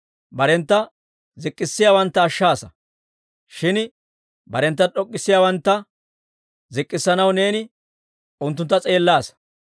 Barentta zik'k'issiyaawantta ashshaasa; shin barentta d'ok'k'issiyaawantta zik'k'issanaw neeni unttuntta s'eellaasa.